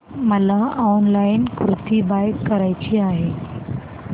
मला online kurti buy करायची आहे